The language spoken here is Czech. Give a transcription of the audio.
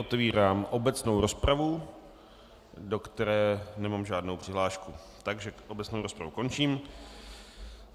Otevírám obecnou rozpravu, do které nemám žádnou přihlášku, takže obecnou rozpravu končím.